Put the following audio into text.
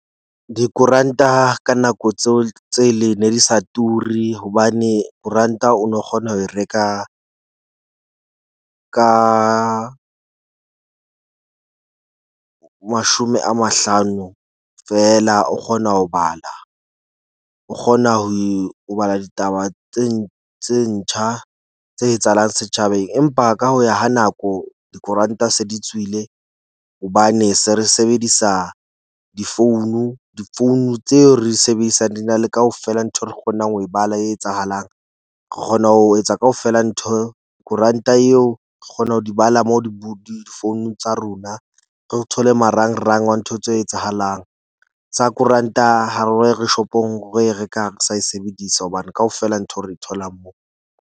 Dikoranta ka nako tseo tse le ne di sa turi hobane koranta o no kgona ho reka ka mashome a mahlano fela o kgona ho bala. O kgona ho bala ditaba tse ntjha, tse etsahalang setjhabeng, empa ka ho ya ha nako. Dikoranta se di tswile hobane se re sebedisa difounu. Difounu tseo re di sebedisang di na le kaofela nthwe re kgonang ho e bala e etsahalang. Re kgona ho etsa kaofela ntho koranta eo kgona ho di bala moo di difounung tsa rona. Re thole marangrang wa ntho tse etsahalang. Tsa koranta re shopong re reka re sa e sebedisa hobane kaofela ntho re thola moo.